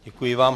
Děkuji vám.